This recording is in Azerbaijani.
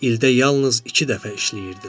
İldə yalnız iki dəfə işləyirdilər.